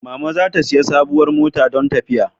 Mama za ta sayi sabuwar mota dan tafiya